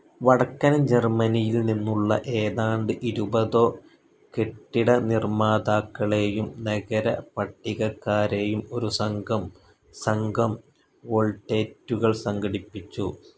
വടക്കൻ ജർമ്മനിയിൽ നിന്നുള്ള ഏതാണ്ട് ഇരുപതോ കെട്ടിടനിർമ്മാതാക്കളെയും നഗരപട്ടികക്കാരെയും ഒരു സംഘം സംഘം വോൾട്ടേറ്റുകൾ സംഘടിപ്പിച്ചു.